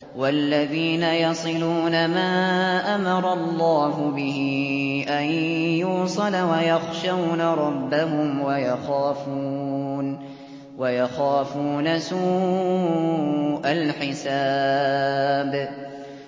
وَالَّذِينَ يَصِلُونَ مَا أَمَرَ اللَّهُ بِهِ أَن يُوصَلَ وَيَخْشَوْنَ رَبَّهُمْ وَيَخَافُونَ سُوءَ الْحِسَابِ